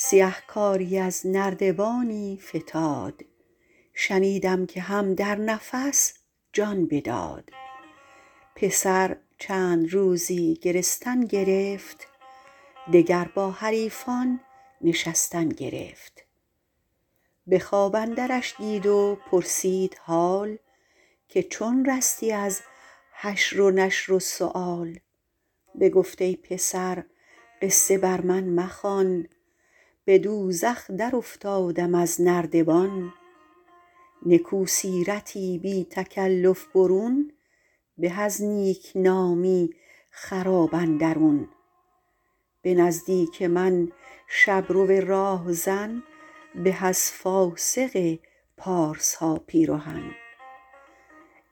سیهکاری از نردبانی فتاد شنیدم که هم در نفس جان بداد پسر چند روزی گرستن گرفت دگر با حریفان نشستن گرفت به خواب اندرش دید و پرسید حال که چون رستی از حشر و نشر و سؤال بگفت ای پسر قصه بر من مخوان به دوزخ در افتادم از نردبان نکو سیرتی بی تکلف برون به از نیکنامی خراب اندرون به نزدیک من شبرو راهزن به از فاسق پارسا پیرهن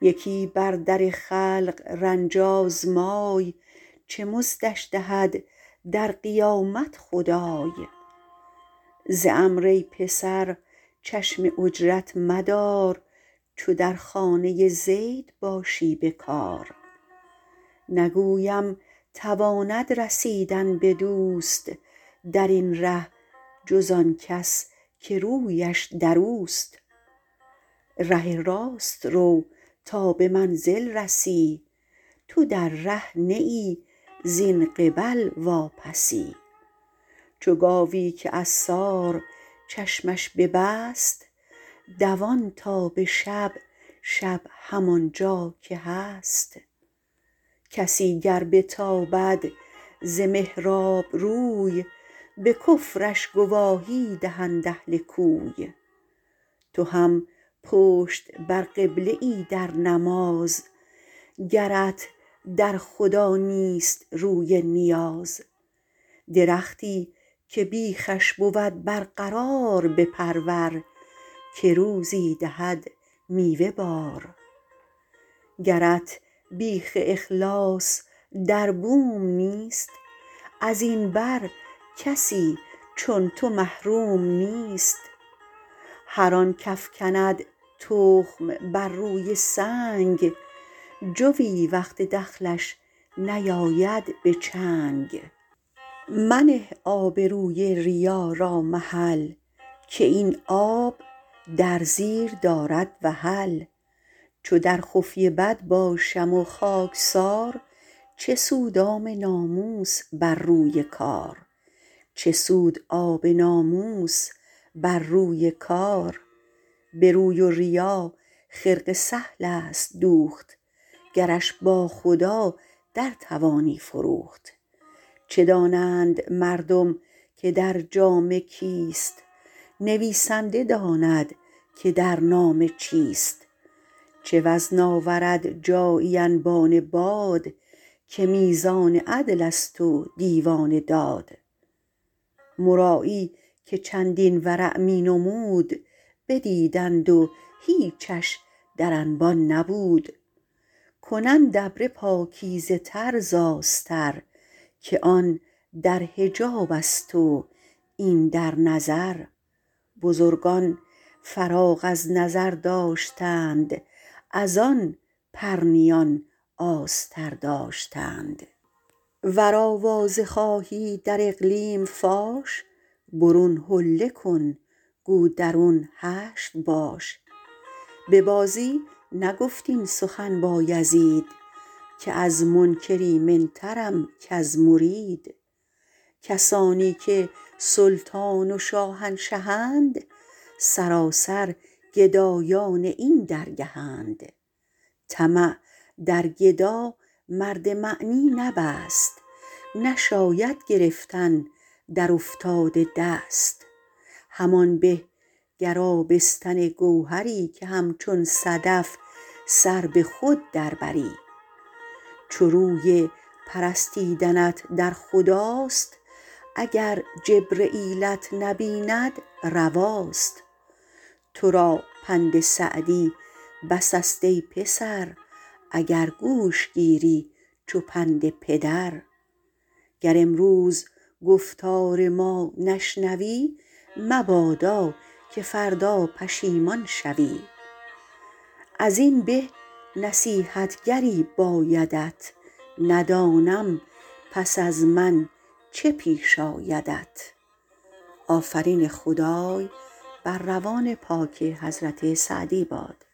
یکی بر در خلق رنج آزمای چه مزدش دهد در قیامت خدای ز عمرو ای پسر چشم اجرت مدار چو در خانه زید باشی به کار نگویم تواند رسیدن به دوست در این ره جز آن کس که رویش در اوست ره راست رو تا به منزل رسی تو در ره نه ای زین قبل واپسی چو گاوی که عصار چشمش ببست دوان تا به شب شب همان جا که هست کسی گر بتابد ز محراب روی به کفرش گواهی دهند اهل کوی تو هم پشت بر قبله ای در نماز گرت در خدا نیست روی نیاز درختی که بیخش بود برقرار بپرور که روزی دهد میوه بار گرت بیخ اخلاص در بوم نیست از این بر کسی چون تو محروم نیست هر آن کافکند تخم بر روی سنگ جوی وقت دخلش نیاید به چنگ منه آبروی ریا را محل که این آب در زیر دارد وحل چو در خفیه بد باشم و خاکسار چه سود آب ناموس بر روی کار به روی و ریا خرقه سهل است دوخت گرش با خدا در توانی فروخت چه دانند مردم که در جامه کیست نویسنده داند که در نامه چیست چه وزن آورد جایی انبان باد که میزان عدل است و دیوان داد مرایی که چندین ورع می نمود بدیدند و هیچش در انبان نبود کنند ابره پاکیزه تر ز آستر که آن در حجاب است و این در نظر بزرگان فراغ از نظر داشتند از آن پرنیان آستر داشتند ور آوازه خواهی در اقلیم فاش برون حله کن گو درون حشو باش به بازی نگفت این سخن بایزید که از منکر ایمن ترم کز مرید کسانی که سلطان و شاهنشهند سراسر گدایان این درگهند طمع در گدا مرد معنی نبست نشاید گرفتن در افتاده دست همان به گر آبستن گوهری که همچون صدف سر به خود در بری چو روی پرستیدنت در خداست اگر جبرییلت نبیند رواست تو را پند سعدی بس است ای پسر اگر گوش گیری چو پند پدر گر امروز گفتار ما نشنوی مبادا که فردا پشیمان شوی از این به نصیحتگری بایدت ندانم پس از من چه پیش آیدت